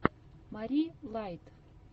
мари лайт